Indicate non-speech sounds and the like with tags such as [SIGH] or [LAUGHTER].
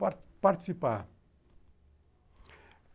Par [UNINTELLIGIBLE] part Participar.